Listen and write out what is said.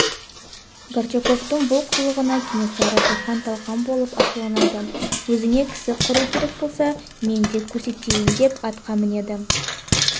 горчаковтың бұл қылығына кенесары бұлқан-талқан болып ашуланады өзіңе кісі қыру керек болса мен де көрсетейін деп атқа мінеді